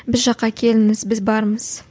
біз жаққа келіңіз біз бармыз